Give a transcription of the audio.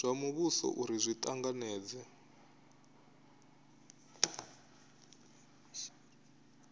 zwa muvhuso uri zwi tanganedze